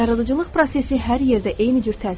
Yaradıcılıq prosesi hər yerdə eyni cür təsir edir.